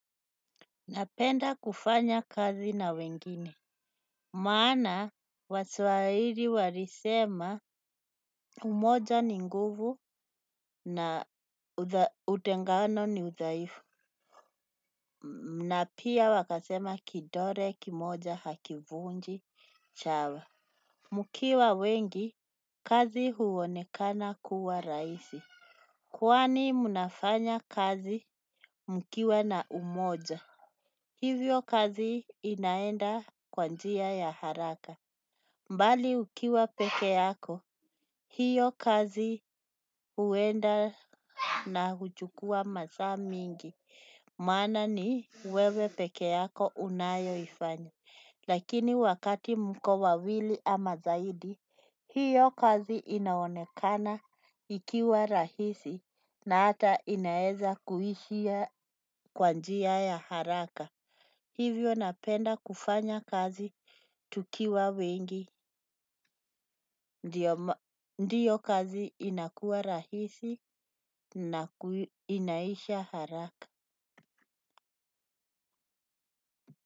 Napenda kufanya kazi na wengine. Maana waswahili walisema umoja ni nguvu na utengano ni uthaifu. Na pia wakasema kidole kimoja hakivunji chawa mkiwa wengi kazi huonekana kukuwa rahisi. Kwani mnafanya kazi mkiwa na umoja. Hivyo kazi inaenda kwa njia ya haraka. Mbali ukiwa peke yako, hiyo kazi uenda na huchukua masaa mingi. Maana ni wewe peke yako unayoifanya. Lakini wakati mko wawili ama zaidi, hiyo kazi inaonekana ikiwa rahisi na ata inaeza kuishia kwa njia ya haraka. Hivyo napenda kufanya kazi tukiwa wengi, ndiyo kazi inakuwa rahisi na inaisha haraka.